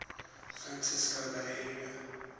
francisco bay area